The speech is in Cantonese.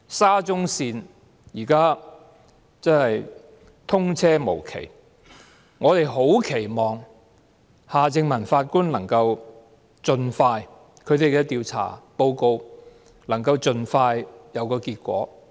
沙中線現時通車無期，我們十分期望夏正民法官的調查報告能夠盡快有結果。